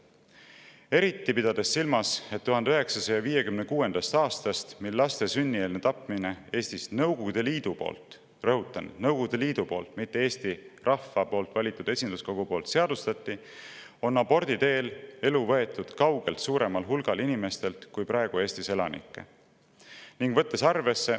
Eriti, et alates 1956. aastast, mil laste sünnieelne tapmine Eestis Nõukogude Liidu poolt seadustati – rõhutan, Nõukogude Liidu poolt, mitte Eesti rahva valitud esinduskogu poolt –, on abordi teel elu võetud kaugelt suuremalt hulgalt inimestelt, kui on praegu Eestis elanikke.